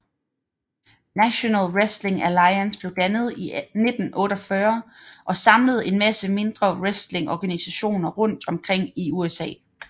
National Wrestling Alliance blev dannet i 1948 og samlede en masse mindre wrestlingorganisationer rundt omkring i USA